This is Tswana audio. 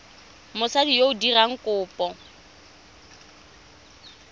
mosadi yo o dirang kopo